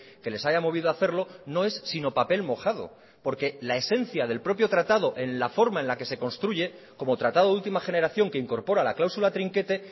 que les haya movido a hacerlo no es sino papel mojado porque la esencia del propio tratado en la forma en la que se construye como tratado de última generación que incorpora la cláusula trinquete